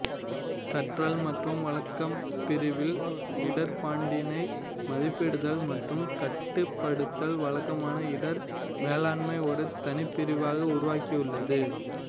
கற்றல் மற்றும் வழக்கம் பிரிவில் இடர்பாட்டினை மதிப்பிடுதல் மற்றும் கட்டுப்படுத்துதல் வழக்கமான இடர் மேலாண்மை ஒரு தனிப்பிரிவாக உருவாகியுள்ளது